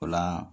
O la